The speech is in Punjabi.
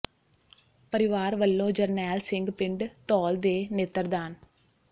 ਪਰਿਵਾਰ ਵੱਲੋਂ ਜਰਨੈਲ ਸਿੰਘ ਪਿੰਡ ਧੌਲ ਦੇ ਨੇਤਰ ਦਾਨ